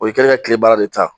O y'i kɛlen ye ka tile baara de ta.